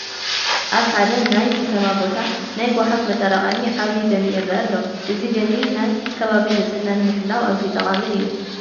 ኣብ ሓደ ናይ ከተማ ቦታ ናይ ጎሓፍ መጠራቐሚ ዓብዪ ገንኢ ይርአ ኣሎ፡፡ እዚ ገንኢ ናይ ከባቢ ንፅህና ንምሕላው ኣዝዩ ጠቓሚ እዩ፡፡